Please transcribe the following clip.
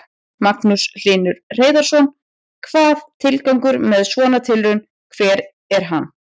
Magnús Hlynur Hreiðarsson: Hvað, tilgangur með svona tilraun, hver er hann?